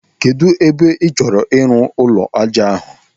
Kedụ ebe ị chọrọ ịrụ ụlọ ájá ahụ?